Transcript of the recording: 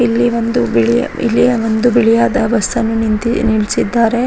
ಇಲ್ಲಿ ಒಂದು ಬಿಳಿಯ ಇಲ್ಲಿಯ ಒಂದು ಬಿಳಿಯಾದ ಬಸ್ಸನ್ನು ನಿಂತಿ ನಿಲ್ಸಿದ್ದಾರೆ.